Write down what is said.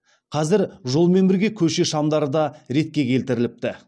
қазір жолмен бірге көше шамдары да ретке келтіріліпті